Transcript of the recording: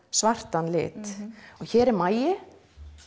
svartan lit hér er magi